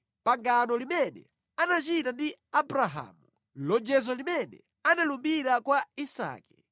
pangano limene anachita ndi Abrahamu, lonjezo limene analumbira kwa Isake.